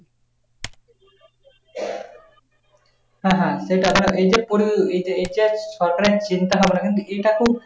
হ্যাঁ হ্যাঁ এই টাকাটা এইটা করে এইটা এইটা সরকারে চিন্তা ভাবনা কিন্তু এইটা খুব,